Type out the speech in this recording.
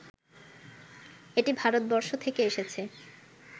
এটি ভারতবর্ষ থেকে এসেছে